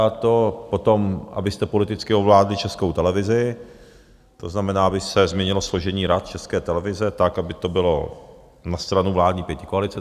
A to potom, abyste politicky ovládli Českou televizi, to znamená, aby se změnilo složení rad České televize tak, aby to bylo na stranu vládní pětikoalice.